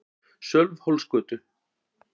Sölvhólsgötu